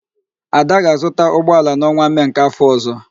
Ada ga-azụta ụgbọala n'ọnwa Mee n'áfọ̀ ọ̀zọ́.